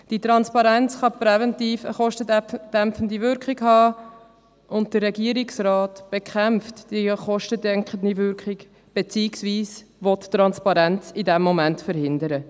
Die Transparenz kann präventiv eine kostendämpfende Wirkung haben, aber der Regierungsrat bekämpft die kostendeckende Wirkung, beziehungsweise will Transparenz in diesem Moment verhindern.